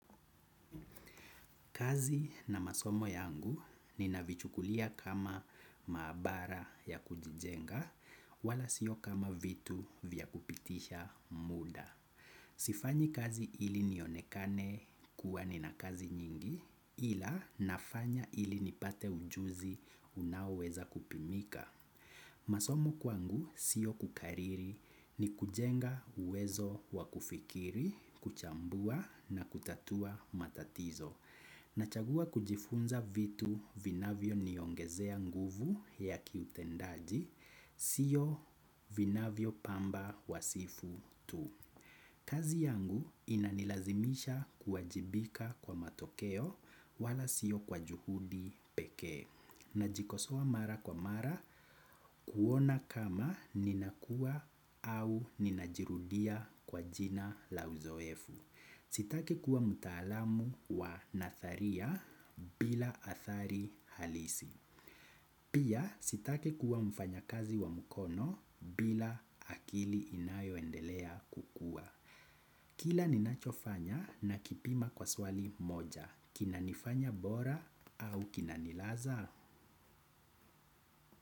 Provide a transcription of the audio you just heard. Kazi na masomo yangu ninavichukulia kama maabara ya kujijenga wala sio kama vitu vya kupitisha muda. Sifanyi kazi ili nionekane kuwa nina kazi nyingi ila nafanya ili nipate ujuzi unaoweza kupimika. Masomo kwangu sio kukariri ni kujenga uwezo wa kufikiri, kuchambua na kutatua matatizo. Nachagua kujifunza vitu vinavyo niongezea nguvu ya kiutendaji, sio vinavyo pamba wasifu tu. Kazi yangu inanilazimisha kuwajibika kwa matokeo wala sio kwa juhudi pekee. Najikosoa mara kwa mara kuona kama ninakua au ninajirudia kwa jina la uzoefu. Sitaki kuwa mtaalamu wa nadharia bila athari halisi. Pia sitaki kuwa mfanyikazi wa mkono bila akili inayoendelea kukua. Kila ninachofanya nakipima kwa swali moja. Kinanifanya bora au kinanilaza?